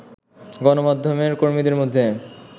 গণমাধ্যমের কর্মীদের মধ্যে